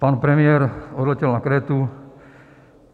Pan premiér odletěl na Krétu.